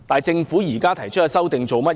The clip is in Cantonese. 政府現時提出的修訂是甚麼？